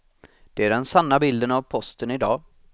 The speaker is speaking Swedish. Det är den sanna bilden av posten i dag.